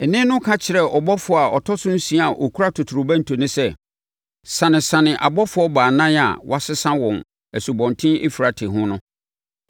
Nne no ka kyerɛɛ ɔbɔfoɔ a ɔtɔ so nsia a ɔkura totorobɛnto no sɛ, “Sanesane abɔfoɔ baanan a wɔasesa wɔn, Asubɔnten Eufrate ho no.”